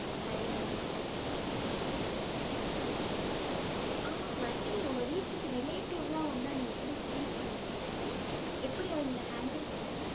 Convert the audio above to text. Harini, okay okay ஆமா, வர்தினி உங்க வீட்டுக்கு relative லாம் வந்தா நீ எப்படி feel பண்ணுவ? எப்படி அவங்களை handle பண்ணுவ?